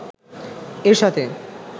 এর সাথে